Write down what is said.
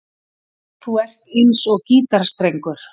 Þú ert eins og gítarstrengur.